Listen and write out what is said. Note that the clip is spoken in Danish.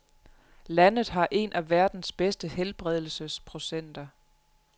Landet har en af verdens bedste helbredelsesprocenter.